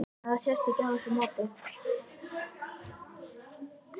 En það sést ekki á þessu móti?